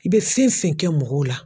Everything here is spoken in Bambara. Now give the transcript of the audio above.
I bɛ fɛn fɛn kɛ mɔgɔw la